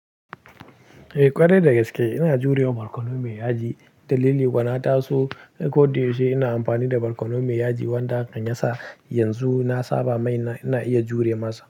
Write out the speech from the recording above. Eh ƙwarai da gaske ina jurewa barkono mai yaji. Dalili kuwa na taso ko da yaushe ina amfani da barkono mai yaji wanda hakan yasa yanzu na saba mai ina iya jure masa.